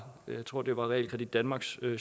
realkredit danmarks